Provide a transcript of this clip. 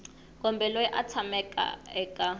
kumbe loyi a tshamaka eka